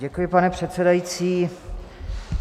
Děkuji, pane předsedající.